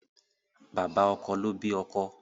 Bàbá ọkọ ló bí ọkọ